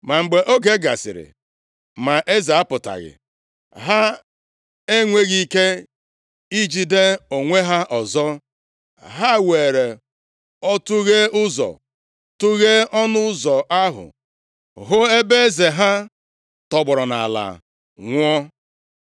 Ma mgbe oge dị anya gasịrị ma eze apụtaghị, ha enweghị ike ijide onwe ha ọzọ. Ha weere ọtụghe ụzọ tụghee ọnụ ụzọ ahụ, hụ ebe eze ha tọgbọrọ nʼala, nwụọ.